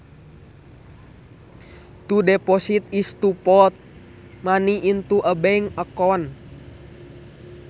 To deposit is to put money into a bank account